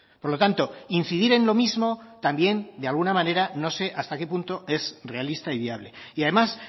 por lo tanto incidir en lo mismo también de alguna manera no sé hasta qué punto es realista y viable y además